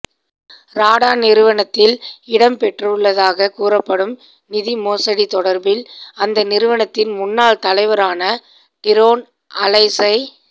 ராடா நிறுவனத்தில் இடம்பெற்றுள்ளதாக கூறப்படும் நிதி மோசடி தொடர்பில் அந்த நிறுவனத்தின் முன்னாள் தலைவரான டிரான் அலஸை